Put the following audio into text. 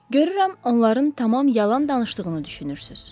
Görürəm, onların tamam yalan danışdığını düşünürsünüz.